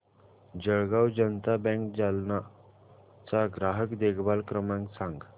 Jalgaon Janata bank Jalna चा ग्राहक देखभाल क्रमांक सांग